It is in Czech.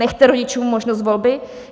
Nechte rodičům možnost volby?